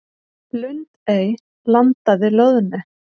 Lundey landaði loðnu